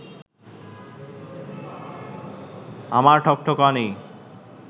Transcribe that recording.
আমার ঠকঠকানি